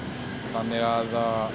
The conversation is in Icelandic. þannig að